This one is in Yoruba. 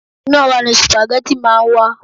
Inú ora ni supageti máa ń wà.